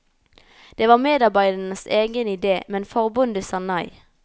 Det var medarbeidernes egen idé, men forbundet sa nei.